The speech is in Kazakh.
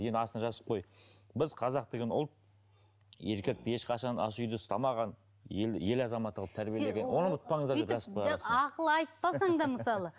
енді астына жазып қой біз қазақ деген ұлт еркекті ешқашан ас үйде ұстамаған ел ел азаматы қылып тәрбиелеген